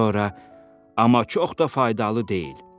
Sonra amma çox da faydalı deyil.